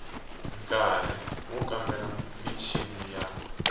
nkari wo kambela michini ya